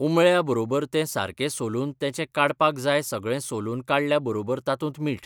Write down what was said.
उमळ्या बरोबर ते सारकें सोलून तेचें काडपाक जाय सगळें सोलून काडल्या बरोबर तातूंत मीठ